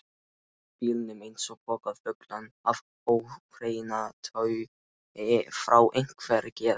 bílnum eins og poka fullan af óhreinataui frá einhverri geð